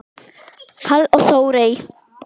Páll og Þórey.